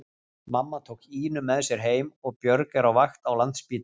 Mamma tók Ínu með sér heim og Björg er á vakt á Landspítalanum.